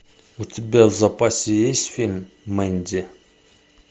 у тебя в запасе есть фильм мэнди